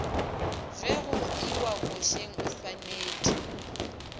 ge go iwa košeng oswanetše